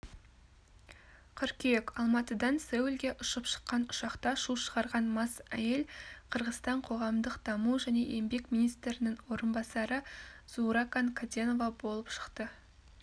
қыркүйек алматыдан сеулге ұшып шыққан ұшақта шу шығарған мас әйел қырғызстан қоғамдық даму және еңбек министрінің орынбасары зууракан каденова болып шықты